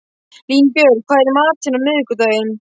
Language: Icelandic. Línbjörg, hvað er í matinn á miðvikudaginn?